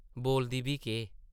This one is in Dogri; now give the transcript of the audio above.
बोलदी बी केह्?